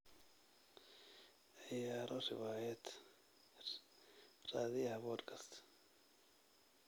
ciyaaro riwaayad raadiyaha podcast